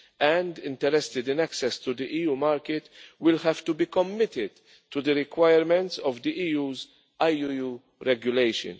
and interested in access to the EU market will have to be committed to the requirements of the EU's IUU regulation.